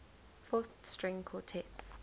fourth string quartets